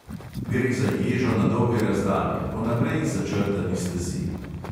Gre za ježo na dolge razdalje po naprej začrtani stezi.